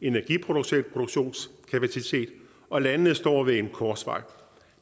energiproduktionskapacitet og landene står ved en korsvej